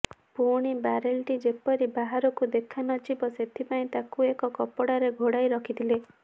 ପୁଣି ବାରେଲ୍ଟି ଯେପରି ବାହାରକୁ ଦେଖା ନଯିବ ସେଥିପାଇଁ ତାକୁ ଏକ କପଡ଼ାରେ ଘୋଡ଼ାଇ ରଖିଥିଲେ